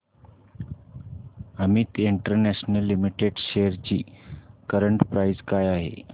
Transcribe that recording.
Amit international limited shares ची current price काय आहे